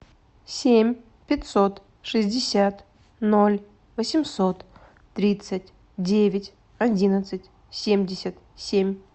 семь пятьсот шестьдесят ноль восемьсот тридцать девять одиннадцать семьдесят семь